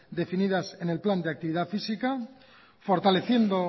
definidas en el plan de actividad física fortaleciendo